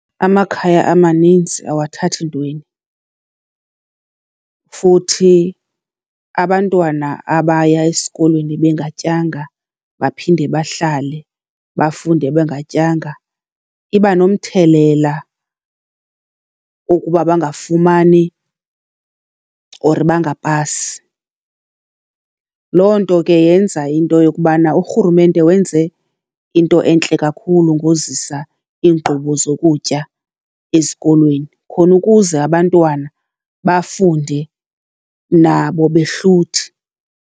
Amakhaya amaninzi awathathi ntweni, futhi abantwana abaya esikolweni bengatyanga baphinde bahlale bafunde bengatyanga iba nomthelela ukuba bangafumani or bangapasi. Loo nto ke yenza into yokubana urhurumente wenze into entle kakhulu ngozisa iinkqubo zokutya ezikolweni khona ukuze abantwana bafunde nabo behluthi.